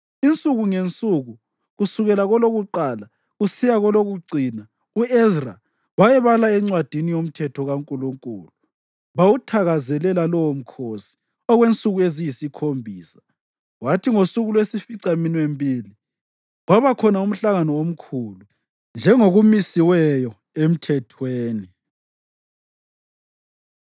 Insuku ngensuku, kusukela kolokuqala kusiya kolokucina, u-Ezra wayebala eNcwadini yoMthetho kaNkulunkulu. Bawuthakazelela lowo mkhosi okwensuku eziyisikhombisa, kwathi ngosuku lwesificaminwembili, kwabakhona umhlangano omkhulu, njengokumisiweyo emthethweni.